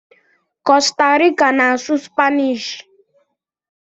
Costa rica na asụ spainish